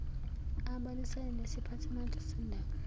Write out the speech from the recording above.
abonisane nesiphathimandla sendawo